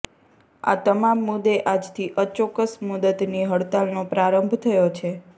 આ તમામ મુદ્દે આજથી અચોક્કસ મુદ્દતની હડતાલનો પ્રારંભ થયો છે